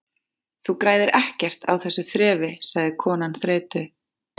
Þú græðir ekkert á þessu þrefi- sagði konan þreytu